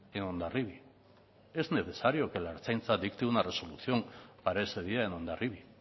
en hondarribia es necesario que la ertzaintza dicte una resolución para ese día en hondarribia